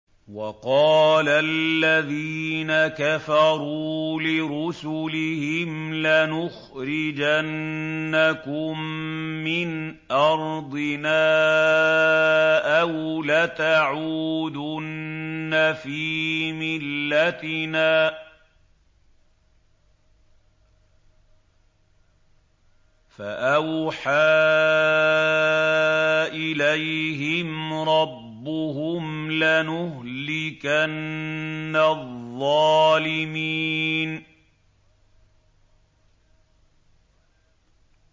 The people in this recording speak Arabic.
وَقَالَ الَّذِينَ كَفَرُوا لِرُسُلِهِمْ لَنُخْرِجَنَّكُم مِّنْ أَرْضِنَا أَوْ لَتَعُودُنَّ فِي مِلَّتِنَا ۖ فَأَوْحَىٰ إِلَيْهِمْ رَبُّهُمْ لَنُهْلِكَنَّ الظَّالِمِينَ